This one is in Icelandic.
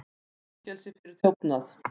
Í fangelsi fyrir þjófnað